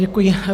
Děkuji.